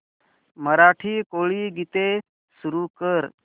मराठी कोळी गीते सुरू कर